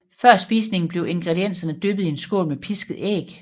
Før spisningen bliver ingredienserne dyppet i en skål med pisket æg